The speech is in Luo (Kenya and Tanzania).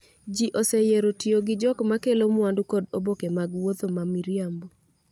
Ji oseyiero tiyo gi jok ma kelo mwandu kod oboke mag wuotho ​​ma miriambo